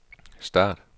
start